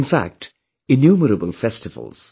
in fact innumerable festivals